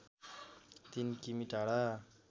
३ किमि टाढा